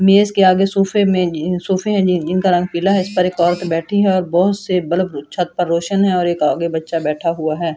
मेज के आगे सोफे में सोफे हैं जिनका रंग पीला है इस पर एक औरत बैठी है और बहुत से बलब छत पर रोशन है और एक आगे बच्चा बैठा हुआ है।